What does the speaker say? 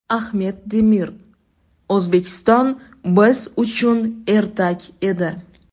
Ahmet Demir: O‘zbekiston biz uchun ertak edi.